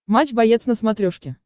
матч боец на смотрешке